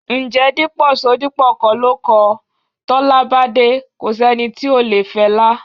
Ǹjẹ́ Dípò Ṣodipọ kọ́ ló kọ: "Tọ́lá bá dé, ko sẹ́ni tí ò le fẹlá..."?